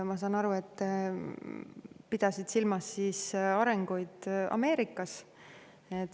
Ma saan aru, et pidasid silmas arengu Ameerikas.